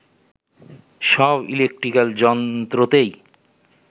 সব ইলেকট্রিকাল যন্ত্রতেই